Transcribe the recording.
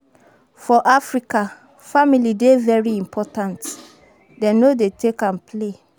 For Africa, family dey very important, dem no dey take am play